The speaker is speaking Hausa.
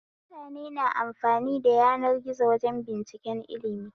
Mutane na amfani da yanar gizo wajen binciken ilmi